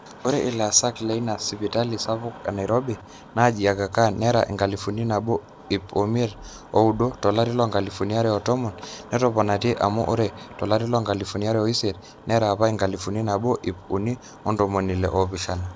ore ilaasak leina sipitali sapuk enairobi naji Agakhan nera enkalifu nabo ip imiet ooudo tolari loonkalifuni are o tomon, netoponate amu ore tolari loonkalifuni are oisiet nera apa enkalifu nabo ip uni ontomoni ile oopishana